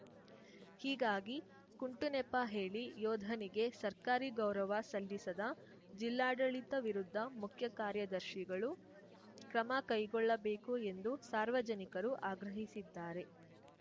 ಹೀಗಾಗಿ ಕುಂಟು ನೆಪ ಹೇಳಿ ಯೋಧನಿಗೆ ಸರ್ಕಾರಿ ಗೌರವ ಸಲ್ಲಿಸದ ಜಿಲ್ಲಾಡಳಿತ ವಿರುದ್ಧ ಮುಖ್ಯಕಾರ್ಯದರ್ಶಿಗಳು ಕ್ರಮ ಕೈಗೊಳ್ಳಬೇಕು ಎಂದು ಸಾರ್ವಜನಿಕರು ಆಗ್ರಹಿಸಿದ್ದಾರೆ